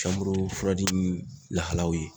lahalaw ye.